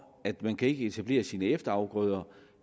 at man ikke kan etablere sine efterafgrøder